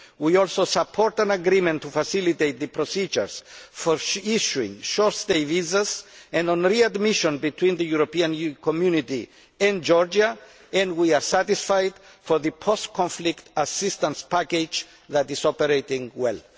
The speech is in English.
We also support an agreement to facilitate the procedures for issuing short stay visas and on readmission between the European Community and Georgia, and we are satisfied with the post conflict assistance package, which is operating well.